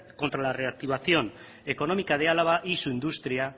contra la reactivación económica de álava y su industria